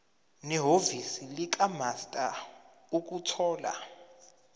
nehhovisi likamaster ukuthola